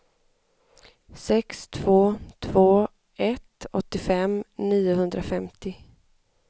sex två två ett åttiofem niohundrafemtio